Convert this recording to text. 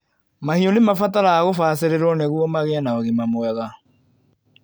Mahiũ nĩmabataraga gũbacĩrĩrwo nĩguo magĩe na ũgima mwega.